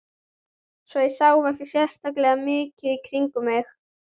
Svo ég sá ekki sérlega mikið í kringum mig.